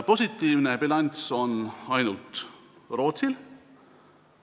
Positiivne bilanss on ainult Rootsil.